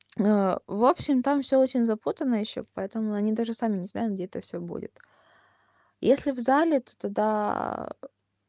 в общем там всё очень запутанно ещё поэтому они даже сами не знают где это всё будет если в зале то тогда